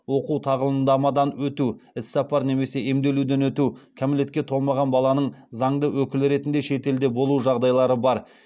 оқу тағылымдамадан өту іссапар немесе емделуден өту кәмелетке толмаған баланың заңды өкілі ретінде шетелде болу жағдайлары бар